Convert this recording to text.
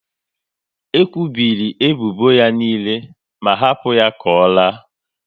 E kwubiri ebubo ya niile ma hapu ya ka ọ laa